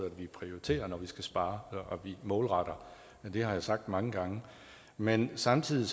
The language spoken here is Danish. at vi prioriterer når vi skal spare og at vi målretter det har jeg sagt mange gange men samtidig